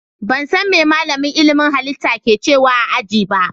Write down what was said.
Ban san me malamin ilimin halitta ke cewa a ajin ba.